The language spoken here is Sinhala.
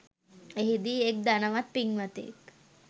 එහිදී එක් ධනවත් පින්වතෙක්